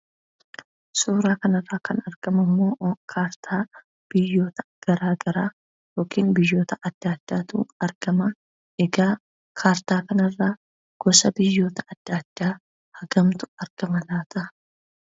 Suuraa kanarra kan argamu kaartaa biyyoota garaagaraa yookiin biyyoota addaa addaatu argama egaa kaartaa kanarra gosa biyyoota adda addaa argamutu argama.